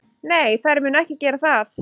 Nei, þær munu ekki gera það.